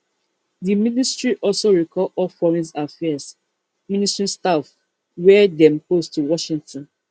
di ministry also recall all foreign affairs ministry staff wia dem post to washington